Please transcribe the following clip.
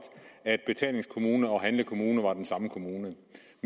at betalingskommune og handlekommune var den samme kommune